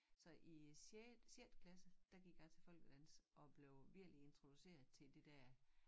Så i sjette sjette klasse der gik jeg til folkedans og blev virkelig introduceret til det dér